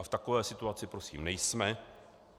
A v takové situaci prosím nejsme.